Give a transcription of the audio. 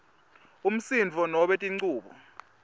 umsindvo nobe tinchubo